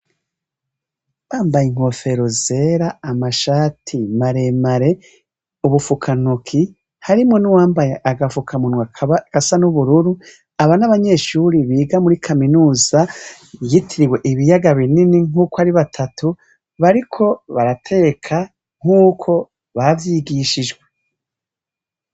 Bambaye inkofero zera, amashati mareme, ubufukantoki, harimwo n'uwambaye agafukamunwa kaba gasa n'ubururu. Aba ni abanyeshure biga muri kaminuza yitiriiwe ibiyaga binini nk'uko ari batatu bariko barateka nk'uko bavyigishijwe.